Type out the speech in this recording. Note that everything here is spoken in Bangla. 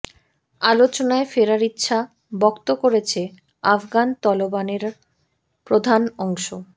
আলোচনায় ফেরার ইচ্ছা ব্যক্ত করেছে আফগান তালেবানের প্রধান অংশ